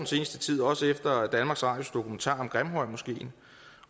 seneste tid også efter danmarks radios dokumentar om grimhøjmoskeen